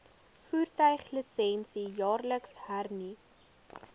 voertuiglisensie jaarliks hernu